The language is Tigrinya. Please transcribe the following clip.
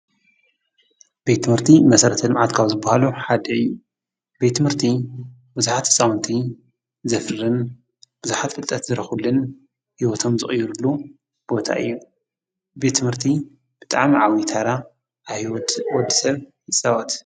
ቤት ትምህርቲ መሰረተ ልምዓት ካብ ዝብሃሉ ሓደ እዩ ።ቤት ትምህርቲ ቡዙሓት ህፃዉንቲ ዘፍርን ብዙሓት ፍልጠት ዝረኽብሉን ሂወቶም ዝቕይሩሉ ቦታ እዩ። ቤት ትምህርቲ ብጣዕሚ ዓብዪ ተራ ኣብ ሂወት ወደሰብ ይፃወት።